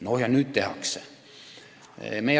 No ja nüüd tehaksegi.